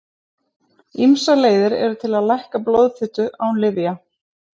Ýmsar leiðir eru til að lækka blóðfitu án lyfja.